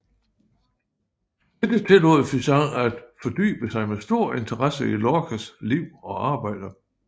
Dette tillod Physant at fordybe sig med stor interesse i Lorcas liv og arbejde